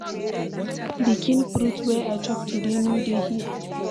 The kin fruit wey I chop today no dey here.